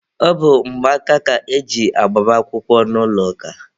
Ọ bụ mgbaaka ka e ji agbamakwụkwọ n'ụlọ ụka.